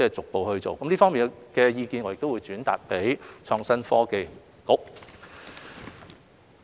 我們會將這方面意見轉達予創新及科技局。